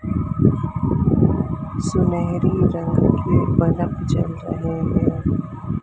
सुनहरी रंग के बलब जल रहे है।